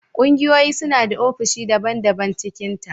Kungiyoyi suna da ofisoshi daban- daban cikinta.